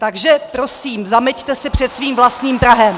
Takže prosím, zameťte si před svým vlastním prahem!